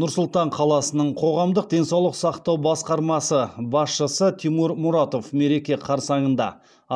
нұр сұлтан қаласының қоғамдық денсаулық сақтау басқармасы басшысы тимур мұратов мереке қарсаңында